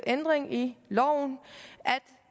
ændring i loven